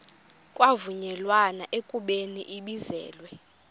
kwavunyelwana ekubeni ibizelwe